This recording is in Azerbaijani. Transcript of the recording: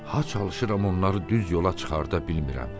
Ha çalışıram onları düz yola çıxarda bilmirəm.